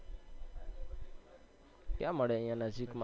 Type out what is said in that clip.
ક્યાં મળે અહિયાં નજીક માં